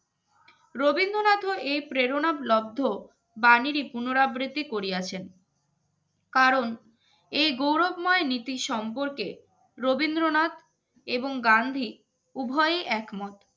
রবীন্দ্রনাথের এই প্রেরণাবলব্ধ বাণীর পুনরাবৃত্তি করিয়াছেন কারণ এই গৌরবময় নীতি সম্পর্কে রবীন্দ্রনাথ এবং গান্ধী উভয়ই এক মত